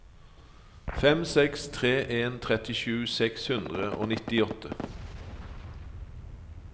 fem seks tre en trettisju seks hundre og nittiåtte